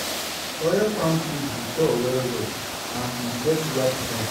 oil palm tree dey tall well well and e get wide frond.